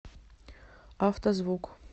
авто звук